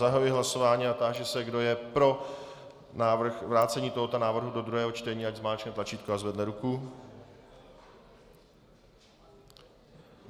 Zahajuji hlasování a táži se, kdo je pro vrácení tohoto návrhu do druhého čtení, ať zmáčkne tlačítko a zvedne ruku.